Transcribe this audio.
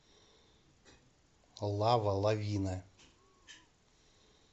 лава лавина